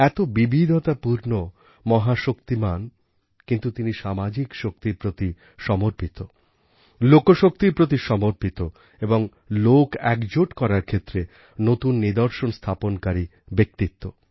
এত বিবিধতাপূর্ণ মহাশক্তিমান কিন্তু তিনি সামাজিক শক্তির প্রতি সমর্পিত লোকশক্তির প্রতি সমর্পিত এবং লোকএকজোট করার ক্ষেত্রে নূতন নিদর্শন স্থাপনকারী ব্যক্তিত্ব